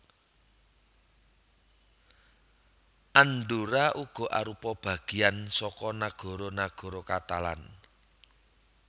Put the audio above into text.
Andorra uga arupa bagean saka nagara nagara Katalan